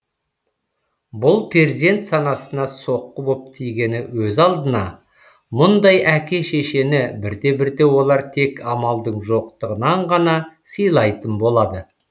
бұл перзент санасына соққы боп тигені өз алдына мұндай әке шешені бірте бірте олар тек амалдың жоқтығынан ғана сыйлайтын болады